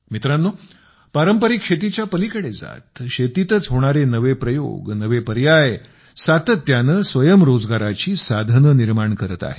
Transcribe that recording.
मित्रांनो पारंपरिक शेतीच्या पलीकडे जात शेतीतच होणारे नवे प्रयोग नवे पर्याय सातत्याने स्वयंरोजगाराची साधने निर्माण करत आहेत